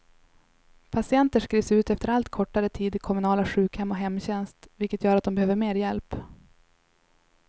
Patienter skrivs ut efter allt kortare tid till kommunala sjukhem och hemtjänst, vilket gör att de behöver mer hjälp.